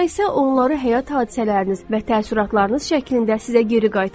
Sonra isə onları həyat hadisələriniz və təəssüratlarınız şəklində sizə geri qaytarır.